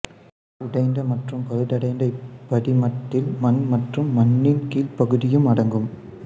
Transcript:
உடைந்த மற்றும் பழுதடைந்த இப்படிமத்தில் மண் மற்றும் மண்ணின் கீழ்ப்பகுதியும் அடங்கும்